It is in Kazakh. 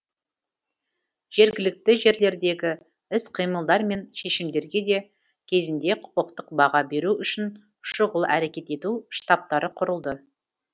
жергілікті жерлердегі іс қимылдар мен шешімдерге де кезінде құқықтық баға беру үшін шұғыл әрекет ету штабтары құрылды